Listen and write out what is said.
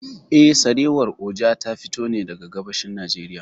Eh, Sarewar Oja ta fito ne daga gabashin Najeriy.